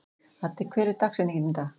Addi, hver er dagsetningin í dag?